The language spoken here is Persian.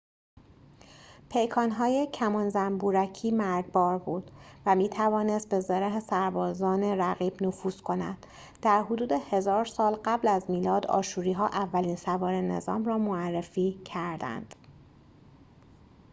پیکان‌های کمان زنبورکی مرگبار بود و می‌توانست به زره سربازان رقیب نفوذ کند در حدود ۱۰۰۰ سال قبل از میلاد آشوری‌ها اولین سواره نظام را معرفی کردند